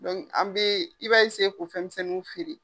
Dɔnku an bɛ i b'a k'o fɛnmisɛnw feere.